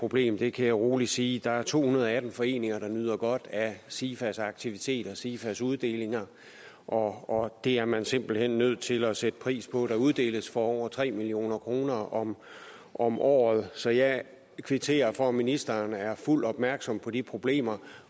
problem det kan jeg rolig sige der er to hundrede og atten foreninger der nyder godt af sifas aktiviteter sifas uddelinger og det er man simpelt hen nødt til at sætte pris på der uddeles for over tre million kroner om om året så jeg kvitterer for at ministeren er fuldt opmærksom på de problemer